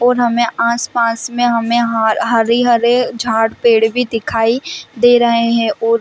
और हमें आस-पास में हमें हा हरे-हरे झाड़ पेड़ भी दिखाई दे रहे है और--